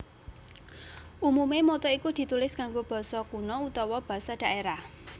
Umume motto iku ditulis nganggo basa kuna utawa basa dhaerah